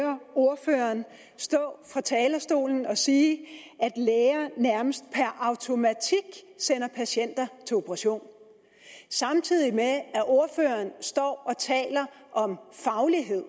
høre ordføreren stå fra talerstolen og sige at læger nærmest per automatik sender patienter til operation samtidig med at ordføreren står og taler om faglighed